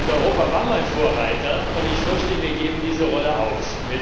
Europa war einmal Vorreiter und ich fürchte, wir geben diese Rolle auf.